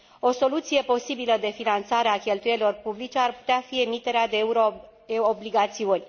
O soluție posibilă de finanțare a cheltuielilor publice ar putea fi emiterea de euro obligațiuni.